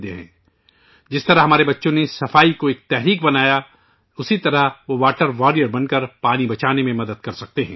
سووچھتا کو جیسے بچوں نے ایک مہم بنایا ہے ، ویسے ہی وہ واٹر واریئر بن کر پانی بچانے میں مدد کر سکتے ہیں